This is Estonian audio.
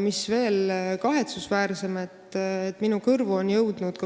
Veel kahetsusväärsem on see, et minu kõrvu on jõudnud